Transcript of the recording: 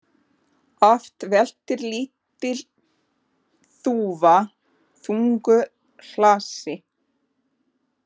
Oft veltir lítil þúfa þungu hlassi.